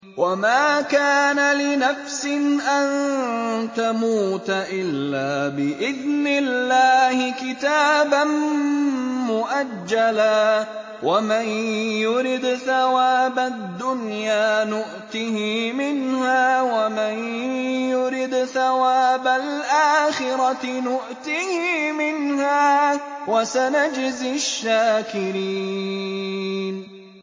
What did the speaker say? وَمَا كَانَ لِنَفْسٍ أَن تَمُوتَ إِلَّا بِإِذْنِ اللَّهِ كِتَابًا مُّؤَجَّلًا ۗ وَمَن يُرِدْ ثَوَابَ الدُّنْيَا نُؤْتِهِ مِنْهَا وَمَن يُرِدْ ثَوَابَ الْآخِرَةِ نُؤْتِهِ مِنْهَا ۚ وَسَنَجْزِي الشَّاكِرِينَ